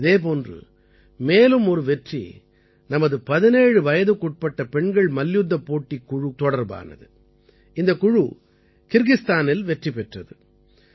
இதே போன்று மேலும் ஒரு வெற்றி நமது 17 வயதுக்குட்பட்ட பெண்கள் மல்யுத்தப் போட்டிக் குழு தொடர்பானது இந்தக் குழு கிர்கிஸ்தானில் வெற்றி பெற்றது